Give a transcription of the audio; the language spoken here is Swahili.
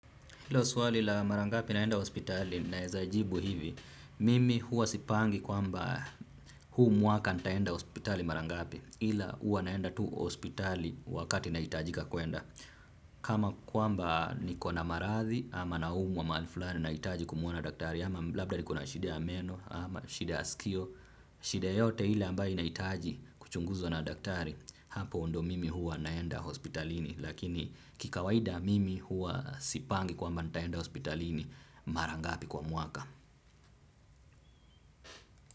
Hilo swali la mara ngapi naenda hospitali naweza jibu hivi, mimi huwa sipangi kwamba huu mwaka nitaenda hospitali mara ngapi ila huwa naenda tu hospitali wakati nahitajika kwenda. Kama kwamba niko na maradhi ama naumwa mahali fulani nahitaji kumuona daktari ama labda niko na shida meno ama shida ya sikio, shida yote ile ambayo nahitaji kuchunguzwa na daktari hapo ndio mimi huwa naenda hospitalini. Lakini kikawaida mimi huwa sipangi kwamba nitaenda hospitalini mara ngapi kwa mwaka.